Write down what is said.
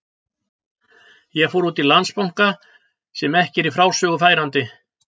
Ég fór út í Landsbanka, sem ekki er í frásögur færandi.